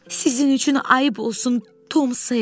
Sizin üçün ayıb olsun, Tom Ser.